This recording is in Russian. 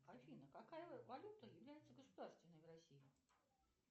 афина какая валюта является государственной в россии